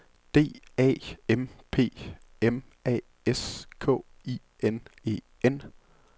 D A M P M A S K I N E N